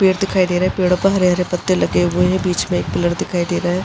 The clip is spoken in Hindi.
पेड़ दिखाई दे रहा है। पेड़ों पर हरे-हरे पत्ते लगे हुए हैं। बीच में एक पिलर दिखाई दे रहा है।